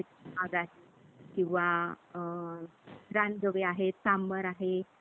Hello